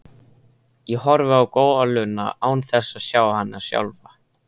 Ég horfi á goluna án þess að sjá hana sjálfa.